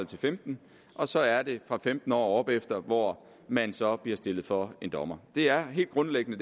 til femten år og så er det fra femten år og opefter hvor man så bliver stillet for en dommer det er helt grundlæggende